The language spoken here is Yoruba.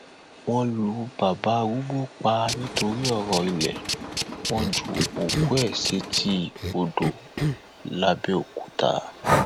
wọn lu bàbá arúgbó pa nítorí ọrọ ilé wọn ju òkú ẹ sétí odò làbẹòkúta